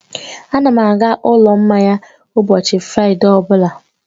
Ana m aga ụlọ mmanya ụbọchị Fraịde ọ bụla